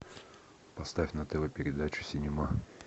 поставь на тв передачу синема